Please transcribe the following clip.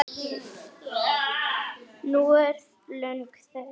Nú er löng þögn.